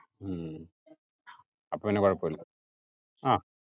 ഉം അപ്പോപിന്നാ കോഴപുല്ല അഹ്